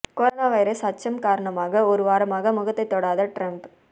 corona virus அச்சம் காரணமாக ஒரு வாரமாக முகத்தை தொடாத ட்ரம்ப்